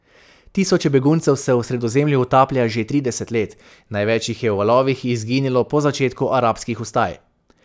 Tisoče beguncev se v Sredozemlju utaplja že trideset let, največ jih je v valovih izginilo po začetku arabskih vstaj.